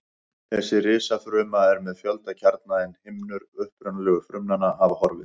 Þessi risafruma er með fjölda kjarna en himnur upprunalegu frumnanna hafa horfið.